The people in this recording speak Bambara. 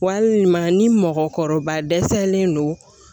Walima ni mɔgɔkɔrɔba dɛsɛlen don